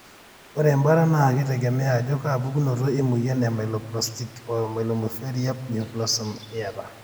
ore embaata na kitegemea ajo kaa pukunoto emoyian e myelodysplastic /myeloproliferia neoplasm etaa.